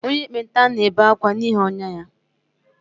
Onye ekpenta na-ebe akwa n’ihi ọnyá ya